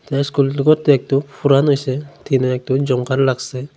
তা স্কুল ঘরটা একটু পুরান হইসে টিনে একটু জংকান লাগসে।